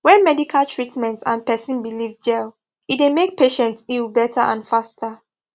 when medical treatment and person belief jell e dey make patients heal better and faster